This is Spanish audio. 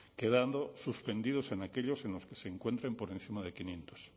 quedando suspendidos en aquellos en los que se encuentren por encima de quinientos